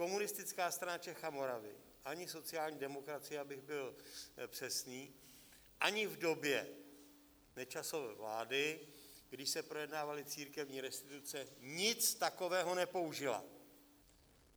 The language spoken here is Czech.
Komunistická strana Čech a Moravy ani sociální demokracie, abych byl přesný, ani v době Nečasovy vlády, kdy se projednávaly církevní restituce, nic takového nepoužila.